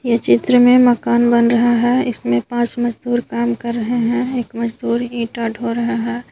इस चित्र में एक मकान बन रहा है इसमें पांच मजदूर काम कर रहे हैं एक मजदूर ईटा ढो रहा है।